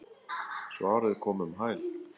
Svarið kom um hæl.